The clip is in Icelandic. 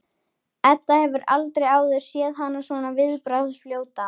Edda hefur aldrei áður séð hana svona viðbragðsfljóta.